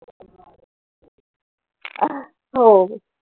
हो.